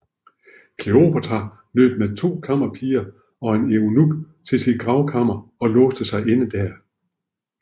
Kleopatra løb med to kammerpiger og en eunuk til sit gravkammer og låste sig inde der